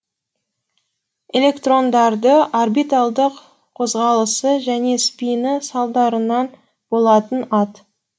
электрондардың орбиталдық қозғалысы және спині салдарынан болатын ат